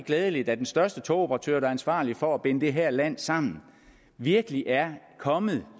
glædeligt at den største togoperatør der er ansvarlig for at binde det her land sammen virkelig er kommet